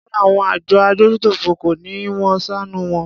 Rárá àwọn àjọ adójútòfò kọ́ ni wón ṣàánù wọn.